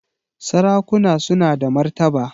Sarakuna suna da martaba